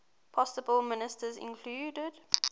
possible ministers included